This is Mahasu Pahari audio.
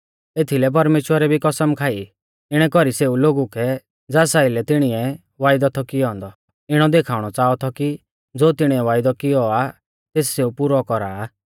एथीलै परमेश्‍वरै भी कसम खाई इणै कौरी सेऊ लोगु कै ज़ास आइलै तिणीऐ वायदौ थौ कियौ औन्दौ इणौ देखाउणौ च़ाहा थौ कि ज़ो तिणीऐ वायदौ कियौ आ तेस सेऊ पुरौ कौरा आ